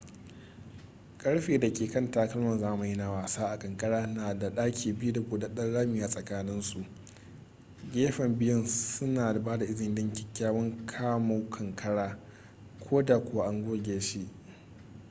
karfe da ke kan takalman zamani na wasa a kankara na da baki biyu da buɗaɗɗen rami tsakanin su gefen biyun suna ba da izini don kyakkyawan kamu kankaran koda kuwa an goge shi